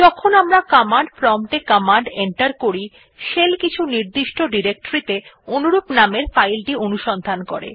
যখন আমরা command prompt এ কমান্ড এন্টার করি শেল কিছু নির্দিষ্ট ডিরেক্টরীতে অনুরূপ নামের ফাইলটি অনুসন্ধান করে